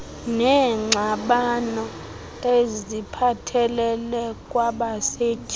neengxabano eziphathelele kwabasetyhini